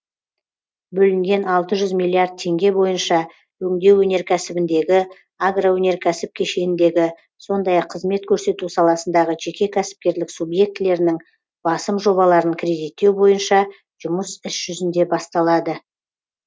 бөлінген алты жүз миллиард теңге бойынша өңдеу өнеркәсібіндегі агроөнеркәсіп кешеніндегі сондай ақ қызмет көрсету саласындағы жеке кәсіпкерлік субъектілерінің басым жобаларын кредиттеу бойынша жұмыс іс жүзінде басталады